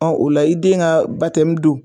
o la i den ka don